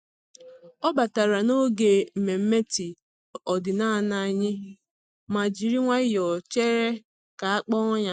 Ọ batara n'oge nmenme tii ọdịnala anyị ma jiri nwayọọ chere ka a kpọọ ya.